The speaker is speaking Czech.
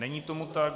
Není tomu tak.